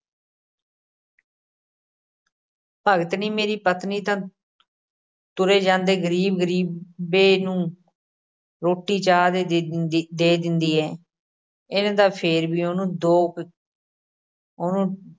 ਭਗਤਣੀ ਮੇਰੀ ਪਤਨੀ ਤਾਂ ਤੁਰੇ ਜਾਂਦੇ ਗ਼ਰੀਬ-ਗ਼ਰੀਬੇ ਨੂੰ ਰੋਟੀ ਚਾਹ ਦੇ ਦਿੰਦੀ, ਦੇ ਦਿੰਦੀ ਹੈ, ਇਹਨੇ ਤਾਂ ਫੇਰ ਵੀ ਉਹਨੂੰ ਦੋ ਕ~ ਉਹਨੂੰ